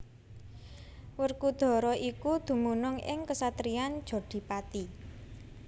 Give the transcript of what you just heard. Werkudara iku dumunung ing ksatriyan Jodhipati